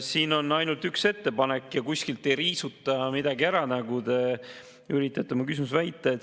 Siin on ainult üks ettepanek ja kuskilt ei riisuta midagi ära, nagu te oma küsimuses väitsite.